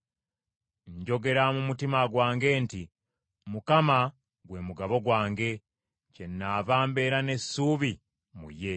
Njogera mu mutima gwange nti, “ Mukama gwe mugabo gwange, kyenaava mbeera n’essuubi mu ye.”